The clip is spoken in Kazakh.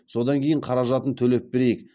содан кейін қаражатын төлеп берейік